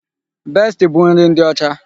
Besti bụ nri ndị ọcha.